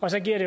og så giver det